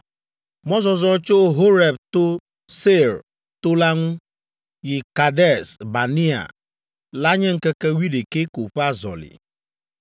Mɔzɔzɔ tso Horeb to Seir to la ŋu yi Kades Barnea la nye ŋkeke wuiɖekɛ ko ƒe azɔli.